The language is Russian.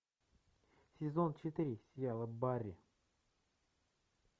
сезон четыре сериала барри